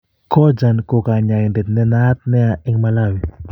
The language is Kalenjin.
kojan ko kanyaindet ne naat nea en Malawi